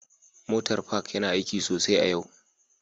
Motar Park yana aiki sosai a yau